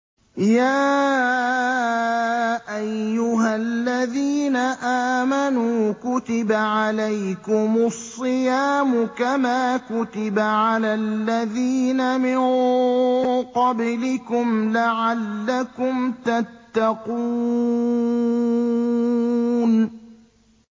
يَا أَيُّهَا الَّذِينَ آمَنُوا كُتِبَ عَلَيْكُمُ الصِّيَامُ كَمَا كُتِبَ عَلَى الَّذِينَ مِن قَبْلِكُمْ لَعَلَّكُمْ تَتَّقُونَ